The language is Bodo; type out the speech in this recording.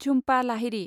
झुम्पा लाहिरि